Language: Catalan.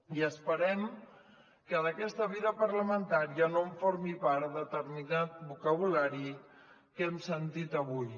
i esperem que d’aquesta vida parlamentària no en formi part determinat vocabulari que hem sentit avui